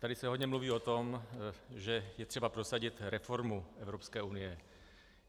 Tady se hodně mluví o tom, že je třeba prosadit reformu Evropské unie.